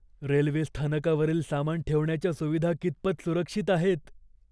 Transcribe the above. Railway स्थानकावरील सामान ठेवण्याच्या सुविधा कितपत सुरक्षित आहेत?